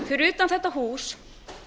fyrir utan þetta hús